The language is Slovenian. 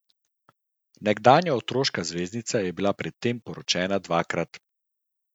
Nekdanja otroška zvezdnica je bila pred tem poročena dvakrat.